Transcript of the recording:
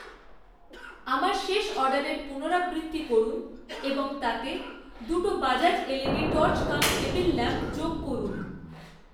আমার শেষ অর্ডারের পুনরাবৃত্তি করুন এবং তাতে দুটো Bajaj LED torch cum table lamp যোগ করুন।